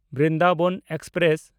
Brindaban express